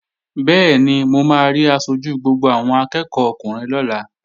Bẹ́ẹ̀ni, mo máa rí aṣojú gbogbo àwọn akẹ́ẹ̀kọ́ ọkùnrin lọ́la